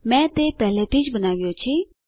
મેં તે પહેલાથી જ બનાવ્યો છે